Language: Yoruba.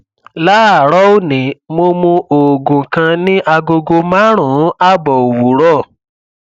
láàárọ òní mo mu oògùn kan ní agogo márùnún ààbọ òwúrọ